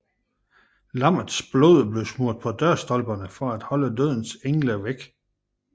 Lammets blod blev smurt på dørstolperne for at holde dødens engel væk